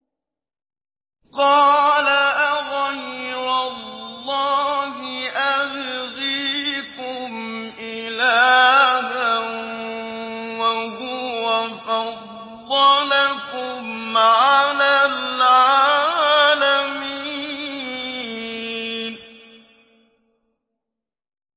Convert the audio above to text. قَالَ أَغَيْرَ اللَّهِ أَبْغِيكُمْ إِلَٰهًا وَهُوَ فَضَّلَكُمْ عَلَى الْعَالَمِينَ